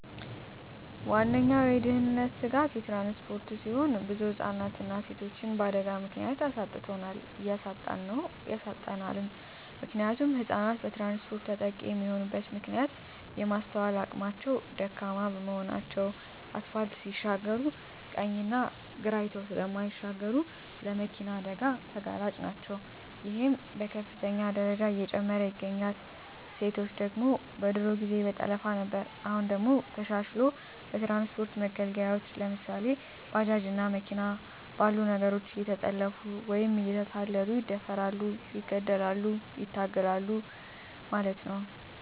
ዋነኛዉ የድህንነት ስጋት ትራንስፖርት ሲሆን ብዙ ህፃናትንና ሴቶችን በአደጋ ምክንያት አሳጥቶናል እያሳጣን ነዉ ያሳጣናልም። ምክንያቱም ህፃናት በትራንስፖርት ተጠቂ የሚሆኑበት ምክንያት የማስትዋል አቅማቸዉ ደካማ በመሆናቸዉ አስፓልት ሲሻገሩ ቀኝና ግራ አይተዉ ስለማይሻገሩ ለመኪና አደጋ ተጋላጭ ናቸዉ ይሄም በከፍተኛ ደረጃ እየጨመረ ይገኛል። ሴቶች ደግሞ በድሮ ጊዜ በጠለፋ ነበር አሁን ደግሞ ተሻሽልሎ በትራንስፖርት መገልገያወች ለምሳሌ፦ ባጃጅ እና መኪና ባሉ ነገሮች እየተጠለፊፉ ወይም እየተታለሉ ይደፈራሉ ይገደላሉ ይታገታሉ ማለት ነዉ።